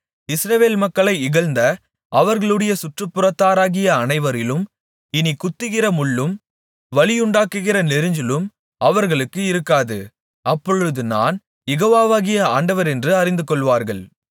இஸ்ரவேல் மக்களை இகழ்ந்த அவர்களுடைய சுற்றுப்புறத்தாராகிய அனைவரிலும் இனிக் குத்துகிற முள்ளும் வலியுண்டாக்குகிற நெரிஞ்சிலும் அவர்களுக்கு இருக்காது அப்பொழுது நான் யெகோவாகிய ஆண்டவரென்று அறிந்துகொள்வார்கள்